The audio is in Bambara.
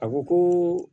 A ko ko